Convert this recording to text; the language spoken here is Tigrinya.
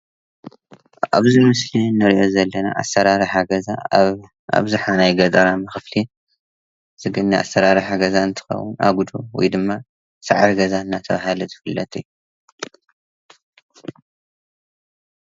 ኣብዚ ምስሊ እንርኦ ዘለና ኣሰራርሓ ገዛ ኣብ ኣብዛሓ ናይ ገጠራማ ክፍሊ ዝግነ ኣሰራርሓ ገዛ እንትኾውን ኣጉዶ ወይ ድማ ሳዕሪ ገዛ እንናተባሃለ ዝፍለጥ እዩ።